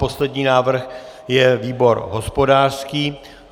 Poslední návrh je výbor hospodářský.